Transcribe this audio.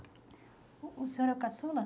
O o senhor é o caçula?